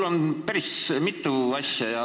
Mul on päris mitu märkust.